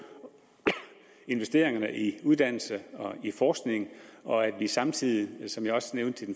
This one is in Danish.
investeringerne i uddannelse og forskning og at vi samtidig som jeg også nævnte